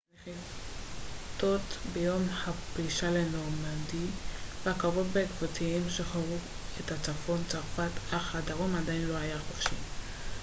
הנחיתות ביום הפלישה לנורמנדי והקרבות בעקבותיהן שחררו את צפון צרפת אך הדרום עדיין לא היה חופשי